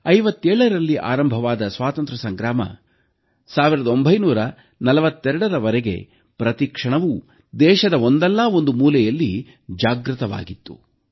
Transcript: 1857ರಲ್ಲಿ ಆರಂಭವಾದ ಸ್ವಾತಂತ್ರ್ಯ ಸಂಗ್ರಾಮ 1942ರವರೆಗೆ ಪ್ರತಿ ಕ್ಷಣವೂ ದೇಶದ ಒಂದಲ್ಲ ಒಂದು ಮೂಲೆಯಲ್ಲಿ ಜಾಗೃತವಾಗಿತ್ತು